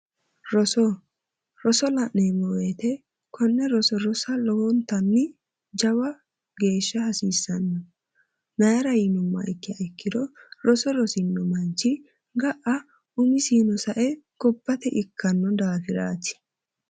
Roso roso la'neemmo woyte konne roso rosa lowontanni jawa geeshsha hasiissanno mayra yinummoha ikkiro roso rosino manchi ga'a umisiino sae gobbate ikkanno daafiraati